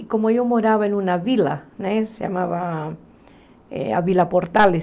E como eu morava em uma vila né, se chamava a Vila Portales,